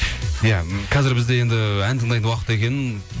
иә қазір бізде енді ән тыңдайтын уақыт екен